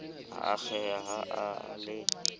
a akgeha ha a le